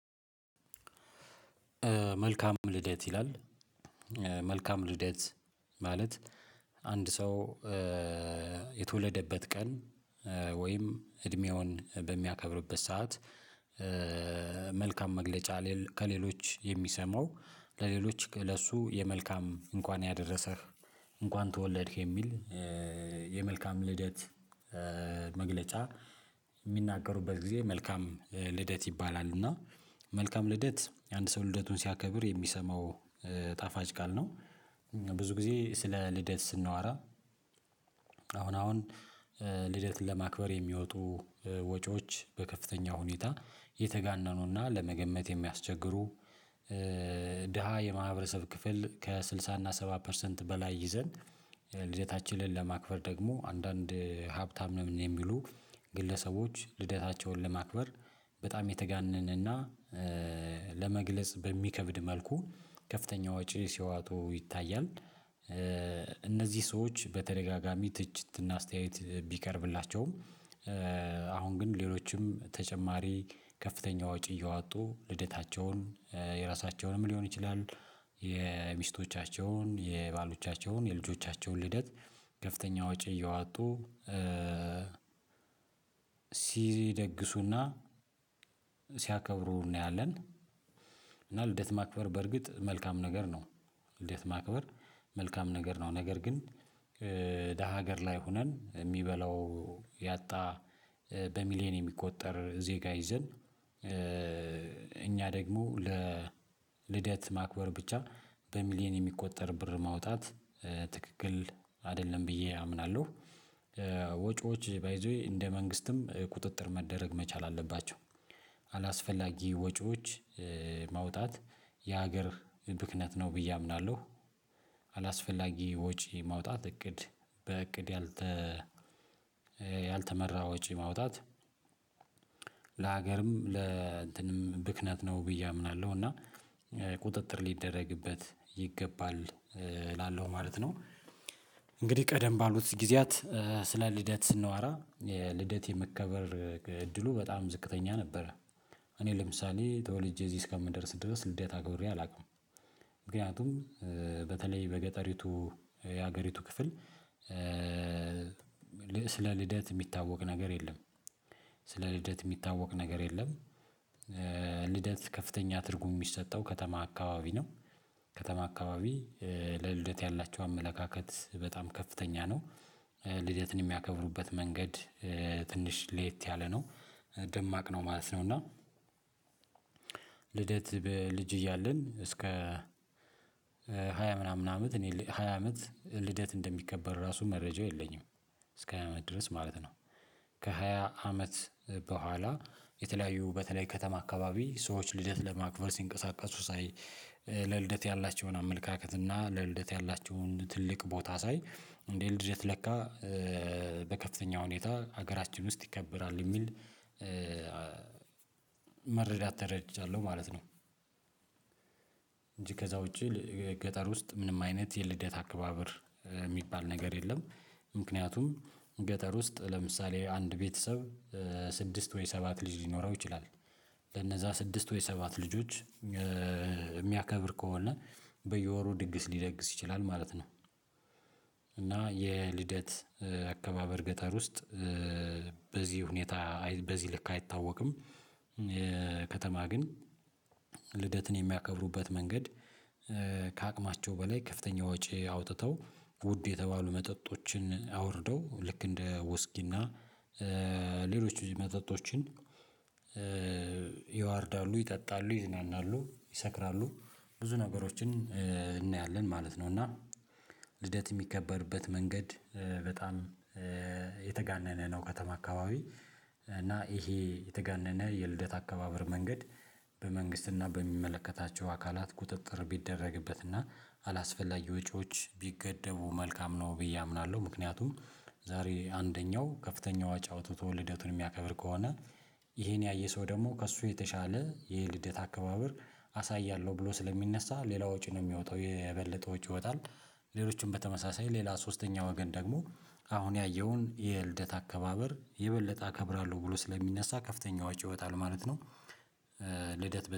መልካም ልደት ይላል መልካም ልደት ማለት አንድ ሰው የተወለደበት ቀን ወይም እድሜውን በሚያከብርበት ሰዓት። መልካም መግለጫ ከሌሎች የሚሰማው ለሌሎች ለሱ የመልካም እንኳን ያደረሰህ እንኳን ተወለድክ የሚል የመልካም ልደት። መግለጫ እሚናገሩበት ጊዜ መልካም ልደት ይባላል እና መልካም ልደት አንድ ሰው ልደቱን ሲያከብር የሚሰማው ጣፋጭ ቃል ነው። ብዙ ጊዜ ስለ ልደት ስናዋራ አሁን አሁን ልደትን ለማክበር የሚወጡ ወጪዎች በከፍተኛ ሁኔታ የተጋነኑና ለመገመት የሚያስቸግሩ። ድሃ የማህበረሰብ ክፍል ከስድሳ እና ሰባ ፐርሰንት በላይ ይዘን ልደታችንን ለማክበር ደግሞ አንዳንድ ሀብታም ነው የሚሉ ግለሰቦች ልደታቸውን ለማክበር በጣም የተጋነነና ለመግለጽ በሚከብድ መልኩ ከፍተኛ ወጪ ሲዋጡ ይታያል። እነዚህ ሰዎች በተደጋጋሚ ትችትና አስተያየት ቢቀርብላቸውም። አሁን ግን ሌሎችም ተጨማሪ ከፍተኛ ወጪ እየዋጡ ልደታቸውን የራሳቸውንም ሊሆን ይችላሉ። የሚስቶቻቸውን የባሎቻቸውን የልጆቻቸውን ልደት ከፍተኛ ወጪ እየዋጡ ሲይዝ ይደግሱና ሲያከብሩ እናያለን። እና ልደት ማክበር በርግጥ መልካም ነገር ነው። ልደት ማክበር መልካም ነገር ነው ነገር ግን ደሃ ሀገር ላይ ሆነን የሚበላው ያጣ በሚሊየን የሚቆጠር ዜጋ ይዘን። እኛ ደግሞ ለ ልደት ማክበር ብቻ በሚሊየን የሚቆጠር ብር ማውጣት ትክክል አይደለም ብዬ አምናለሁ። ወጪዎች ባይ ዘ ዌይ እንደ መንግስትም ቁጥጥር መደረግ መቻል አለባቸው። አላስፈላጊ ወጪዎች ማውጣት የሀገር ብክነት ነው ብዬ አምናለሁ። አላስፈላጊ ወጪ ማውጣት እቅድ በእቅድ ያልተ ያልተመራ ወጪ ማውጣት። ለሀገርም ለእንትንም ብክነት ነው ብዬ አምናለሁ እና ቁጥጥር ሊደረግበት ይገባል እላለሁ ማለት ነው። እንግዲህ ቀደም ባሉት ጊዜያት ስለ ልደት ስንዋራ ልደት የመከበር እድሉ በጣም ዝቅተኛ ነበረ። እኔ ለምሳሌ ተወልጄ እዚህ እስከምደርስ ድረስ ልደታ አክብሬ አላውቅም። ምክንያቱም በተለይ በገጠሪቱ የሀገሪቱ ክፍል። ስለ ልደት እሚታወቅ ነገር የለም። ስለ ልደት እሚታወቅ ነገር የለም። ልደት ከፍተኛ ትርጉም እሚሰጠው ከተማ አካባቢ ነው። ከተማ አካባቢ ለልደት ያላቸው አመለካከት በጣም ከፍተኛ ነው። ልደትን የሚያከብሩበት መንገድ ትንሽ ሌየት ያለ ነው። ደማቅ ነው ማለት ነው እና። ልደት በልጅ እያለን እስከ ሃያ ምናምን አመት እኔ ሃያ አመት ልደት እንደሚከበር ራሱ መረጃው የለኝም። እስከ ሃያ አመት ድረስ ማለት ነው። ከሃያ አመት በኋላ የተለያዩ በተለይ ከተማ አካባቢ ሰዎች ልደት ለማክበር ሲንቀሳቀሱ ሳይ። ለልደት ያላቸውን አመለካከት እና ለልደት ያላቸውን ትልቅ ቦታ ሳይ እንዴ ልደት ለካ። በከፍተኛ ሁኔታ ሀገራችን ውስጥ ይከበራል እሚል መረዳት ተረድቻለሁ ማለት ነው። እንጂ ከዛ ውጪ ገጠር ውስጥ ምንም አይነት የልደት አከባበር የሚባል ነገር የለም። ምክንያቱም ገጠር ውስጥ ለምሳሌ አንድ ቤተሰብ ስድስት ወይ ሰባት ልጅ ሊኖረው ይችላል። ለነዛ ስድስት ወይ ሰባት ልጆች እሚያከብር ከሆነ በየወሩ ድግስ ሊደግስ ይችላል ማለት ነው። እና የልደት አከባበር ገጠር ውስጥ በዚህ ሁኔታ በዚህ ልክ አይታወቅም። ከተማ ግን። ልደትን የሚያከብሩበት መንገድ ከአቅማቸው በላይ ከፍተኛ ወጪ አውጥተው ውድ የተባሉ መጠጦችን አውርደው ልክ እንደ ወስኪና ሌሎች መጠጦችን ያዋርዳሉ ይጠጣሉ ይዝናናሉ ይሰክራሉ። ብዙ ነገሮችን እናያለን ማለት ነው። እና ልደት እሚከበርበት መንገድ በጣም የተጋነነ ነው። ከተማ አካባቢ እና ይሄ የተጋነነ የልደት አካባበር መንገድ በመንግስትና በሚመለከታቸው አካላት ቁጥጥር ቢደረግበትና አላስፈላጊ ወጪዎች ቢገደቡ መልካም ነው ብዬ አምናለሁ። ምክንያቱም ዛሬ አንደኛው ከፍተኛው ወጪ አዉጥቶ ልደቱን እሚያከብር ከሆነ ይሄን ያየ ሰው ደግሞ ከእሱ የተሻለ የልደት አከባበር አሳያለሁ ብሎ ስለሚነሳ ሌላ ወጪ ነው የሚወጣው የበለጠ ወጪ ይወጣል። ሌሎችም በተመሳሳይ ሌላ ሶስተኛ ወገን ደግሞ አሁን ያየውን የልደት አከባበር የበለጠ አከብራለሁ ብሎ ስለሚነሳ ከፍተኛ ወጭ ይወጣል ማለት ነው። ልደት